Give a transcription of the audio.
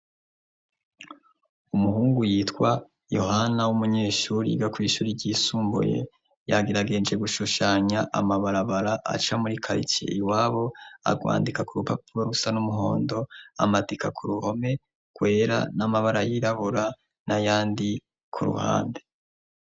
Umuhungu yitwa yohana w'umunyeshuri igakw'ishuri ryisumbuye yagiragenje gushushanya amabarabara aca murikayicie i wabo arwandika ku rupapuro rusa n'umuhondo amatika ku ruhome kwera n'amabara yirabura n'ayandi ku ruhande.